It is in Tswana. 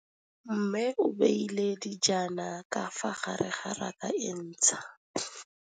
Mmê o beile dijana ka fa gare ga raka e ntšha.